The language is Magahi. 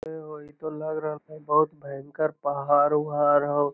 हेय हअ इ तो लग रहले हेय बहुत भयंकर पहाड़ उहाड़ होअ।